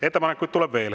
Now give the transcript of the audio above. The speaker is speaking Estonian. Ettepanekuid tuleb veel.